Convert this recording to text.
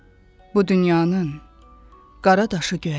Bu dünyanın qara daşı göyərməz.